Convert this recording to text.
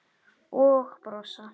Og brosa.